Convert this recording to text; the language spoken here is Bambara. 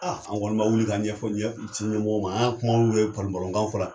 A anw kɔni ma wuli ka ɲɛfɔ ci ɲɛmɔgɔ ma an kumaw mɛn palon palon kanw fɔra.